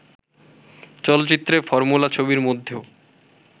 চলচ্চিত্রে, ফর্মুলা ছবির মধ্যেও